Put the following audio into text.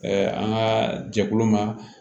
an ka jɛkulu ma